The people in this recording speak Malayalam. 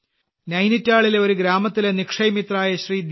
നൈനിറ്റാളിലെ ഒരു ഗ്രാമത്തിലെ നിക്ഷയ് മിത്രയായ ശ്രീ